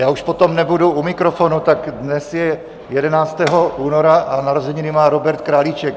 Já už potom nebudu u mikrofonu, tak dnes je 11. února a narozeniny má Robert Králíček.